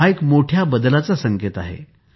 हा एक मोठ्या बदलाचा संकेत आहे